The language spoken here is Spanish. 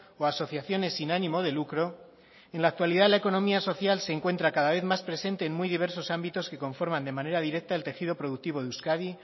o asociaciones sin ánimo de lucro en la actualidad la economía social se encuentra cada vez más presenta en muy diversos ámbitos que conforman de manera directa el tejido productivo de euskadi